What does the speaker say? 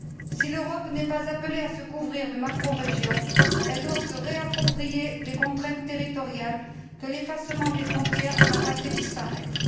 Si l'Europe n'est pas appelée à se couvrir de macrorégions, elle doit se réapproprier les contraintes territoriales que l'effacement des frontières n'a pas fait disparaître.